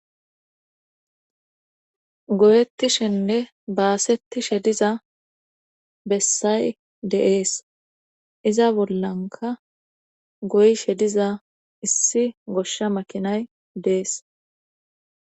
Goyettishenne baasetti shediza bessay deees iza bollanka goy shediza issi goshsha makinay dees